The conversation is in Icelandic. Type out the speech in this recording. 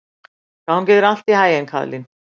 Gangi þér allt í haginn, Kaðlín.